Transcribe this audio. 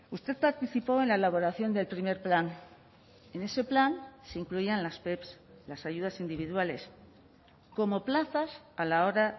usted participó en la elaboración del primer plan en ese plan se incluían las pep las ayudas individuales como plazas a la hora